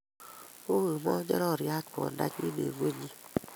U kimonjoryat kwondonyi eng koinyi